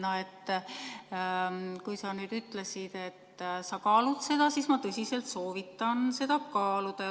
Sa ütlesid, et sa kaalud, ja ma tõsiselt soovitan sul seda kaaluda.